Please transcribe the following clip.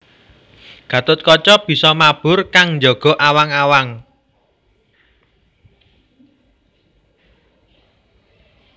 Gatotkaca bisa mabur kang njaga awang awang